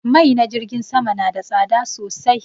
Mai na jirgin sama na da tsada sosai